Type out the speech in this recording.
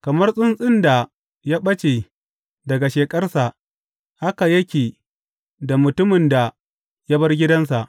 Kamar tsuntsun da ya ɓace daga sheƙarsa haka yake da mutumin da ya bar gidansa.